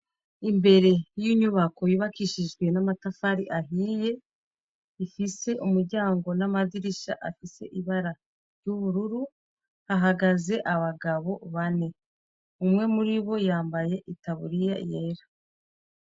Imbere yinyubako yubakishije namatafari ahiye afise umuryango namadirisha afise ibara y'ubururu hahagaze abagabo bane umwe muri bo yambaye itaburiya yera.